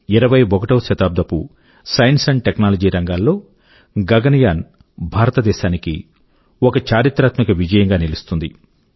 21వ శతాబ్దపు science and technology రంగాల్లో గగన్ యాన్ భారతదేశాని కి ఒక చారిత్రాత్మక విజయం గా నిలుస్తుంది